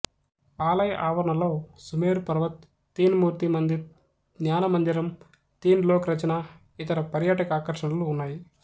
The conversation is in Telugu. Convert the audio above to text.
ఆలయ ఆవరణలో సుమేరు పర్వత్ తీన్ మూర్తి మందిర్ ద్యానమందిరం తీన్ లోక్ రచనా ఇతర పర్యాటక ఆకర్షణలు ఉన్నాయి